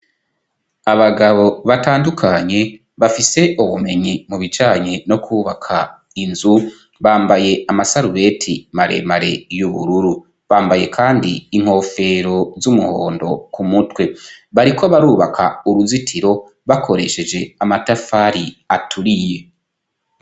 Abagabo batandukanye bafise ubumenyi mubijanye no kwubaka inzu bambaye amasarubeti maremare y'ubururu, bambaye kandi inkofero z'umuhondo k'umutwe. Bariko barubaka uruzitiro bakoresheje amatafari aturiye.